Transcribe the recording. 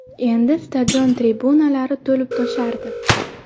Endi stadion tribunalari to‘lib-toshardi.